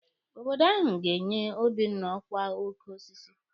Obodo ahụ ga-enye Obinna ọkwa oke osisi.